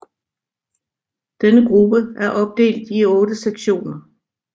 Denne gruppe er opdelt i otte sektioner